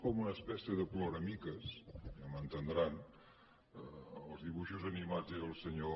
com una espècie de ploramiques i ja m’entendran als dibuixos animats era el senyor